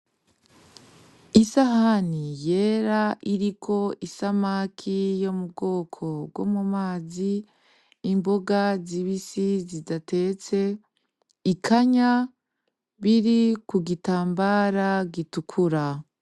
Isahani yera iriko isamaki yo mu bwoko bwo mu mazi, imboga zibisi zidatetse, ikanya biri ku gitambara gitukura.